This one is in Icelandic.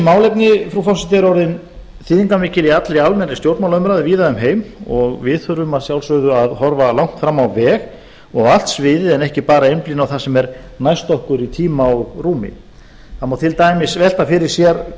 málefni frú forseti eru orðin þýðingarmikil í allri almennri stjórnmálaumræðu víða um heim og við þurfum að sjálfsögðu að horfa langt fram á veg á allt sviðið en ekki bara einblína á það sem er næst okkur í tíma og rúmi það má til dæmis velta fyrir sér